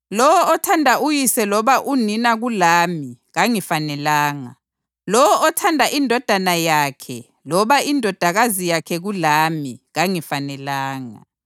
Lowo othanda uyise loba unina kulami kangifanelanga; lowo othanda indodana yakhe loba indodakazi yakhe kulami kangifanelanga;